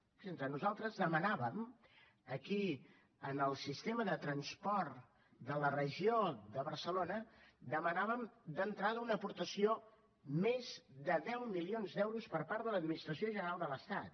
fixin s’hi nosaltres demanàvem aquí en el sistema de transport de la regió de barcelona d’entrada una aportació més de deu milions d’euros per part de l’administració general de l’estat